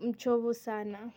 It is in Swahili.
mchovu sana.